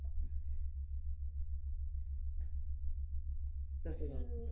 तसं झालं.